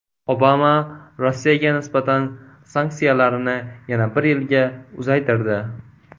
Obama Rossiyaga nisbatan sanksiyalarni yana bir yilga uzaytirdi.